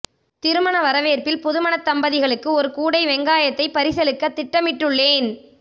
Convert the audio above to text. திருமண வரவேற்பில் புதுமணத் தம்பதிகளுக்கு ஒரு கூடை வெங்காயத்தை பரிசளிக்க திட்டமிட்டுள்ளேன்